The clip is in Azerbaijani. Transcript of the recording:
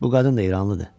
Bu qadın da İranlıdır.